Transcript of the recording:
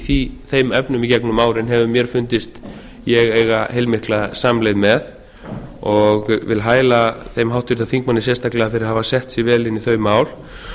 í þeim efnum í gegnum árin hefur mér fundist ég eiga heilmikla samleið með og vil hæla þeim háttvirtum þingmanni sérstaklega fyrir að hafa sett sig vel inn í þau mál